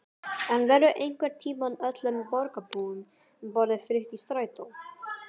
En verður einhvern tímann öllum borgarbúum boðið frítt í strætó?